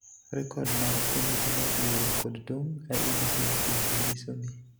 Rekod mag Komiti mar Yiero kod Tong' (IEBC) bende nyiso ni